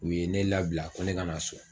U ye ne labila ko ne ka na so